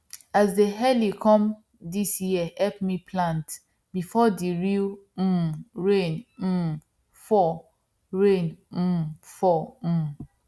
as dey early come dis year help me plant before the real um rain um fall rain um fall um